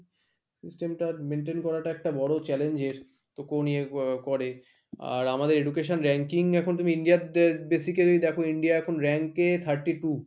system টা maintain করাটা একটা বড়ো challenge এর তো কোনো নিয়ে করে আর আমাদের education ranking এখন তুমি ইন্ডিয়াতে basically দেখো ইন্ডিয়া এখন rank এ thirty two।